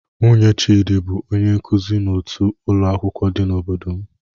Nwunye Chidi bụ onye nkuzi n'otu ụlọ akwụkwọ dị n'obodo m.